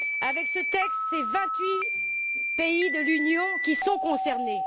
Avec ce texte, c'est vingt huit pays de l'Union qui sont concernés.